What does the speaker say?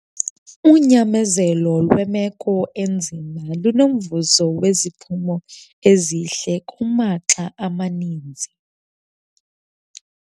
Unyamezelo lwemeko enzima lunomvuzo weziphumo ezihle kumaxa amaninzi.